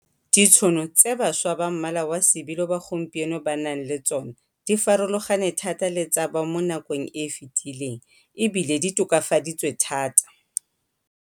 Ditšhono tse bašwa ba mmala wa sebilo ba gompieno ba nang le tsona di farologane thata le tsa ba mo nakong e efetileng e bile di tokafaditswe thata.